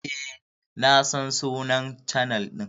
Eh na san sunnan chanel din.